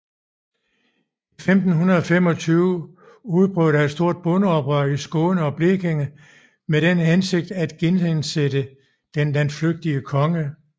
I 1525 udbrød der et stort bondeoprør i Skåne og Blekinge med den hensigt at genindsætte den landflygtige konge